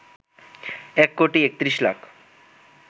১ কোটি ৩১ লাখ